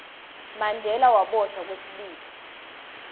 mandela waboshwa kwesibili